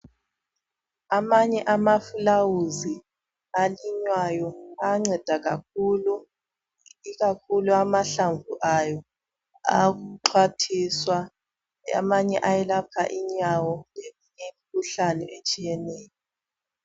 Amanye amafulawuzi alinywayo ayanceda kakhulu ikakhulu amahlamvu ayo ayaxhwathiswa amanye ayelapha inyawo leminye imkhuhlane etshiyeneyo